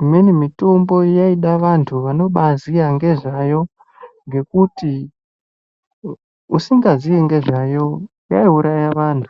imweni mitombo yaida vantu vanoba ziya nezveyo ngekuti usingazii ngezvayo yaiuraya vantu.